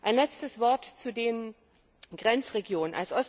Ein letztes Wort zu den Grenzregionen.